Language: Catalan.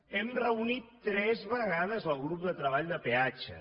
hem reunit tres vegades el grup de treball de peatges